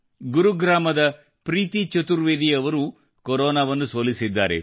ಗುರುಗ್ರಾಮದ ಪ್ರೀತಿ ಚತುರ್ವೇದಿ ಅವರೂ ಕೊರೋನಾವನ್ನು ಸೋಲಿಸಿದ್ದಾರೆ